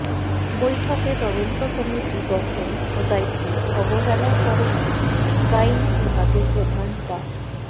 বৈঠকে তদন্ত কমিটি গঠন ও দায়িত্বে অবহেলার কারণে গাইনি বিভাগের প্রধান ডা